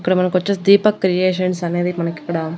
ఇక్కడ మనకు వచ్చేసి దీపక్ క్రియేషన్స్ అనేది మనకు ఇక్కడ.